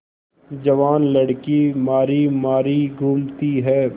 जवान लड़की मारी मारी घूमती है